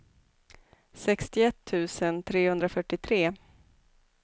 sextioett tusen trehundrafyrtiotre